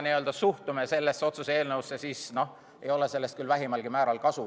Kui me suhtume sellesse otsuse eelnõusse selliselt, siis ei ole sellest küll vähimalgi määral kasu.